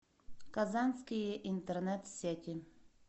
казанские интернет сети